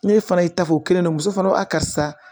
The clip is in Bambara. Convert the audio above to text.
Ne fana y'i ta fɔ o kelen na muso fana ko a karisa